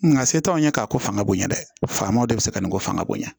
Nga se t'anw ye k'a ko fanga bonya dɛ famaw de bɛ se ka nin ko fanga bonya